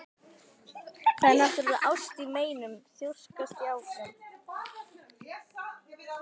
Það er náttúrlega ást í meinum, þrjóskast ég áfram.